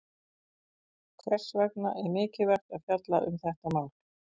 Hvers vegna er mikilvægt að fjalla um þetta mál?